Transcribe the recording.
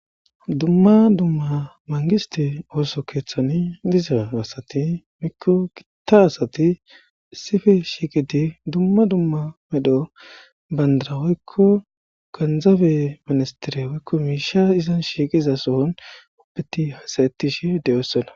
Dumma dumma mangisthe osso keeththani dizza assathi woykko gitta assathi issippe shiqidi dumma dumma medho bantta woykko genzebe ministere woykko mishsha izzan shiqiza uttidi hasse'thishe dossona.